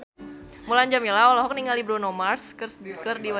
Mulan Jameela olohok ningali Bruno Mars keur diwawancara